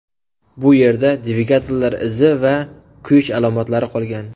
Bu yerda dvigatellar izi va kuyish alomatlari qolgan.